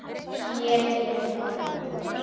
Sneri mér frá honum.